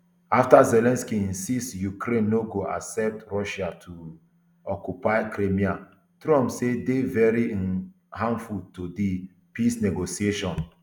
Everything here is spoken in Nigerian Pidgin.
afta zelensky insist say ukraine no go accept russia to um occupy crimea trump say dey very um harmful to di peace negotiations